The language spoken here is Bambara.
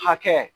Hakɛ